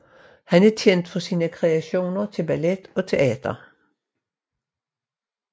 Han er kendt for sine kreationer til ballet og teater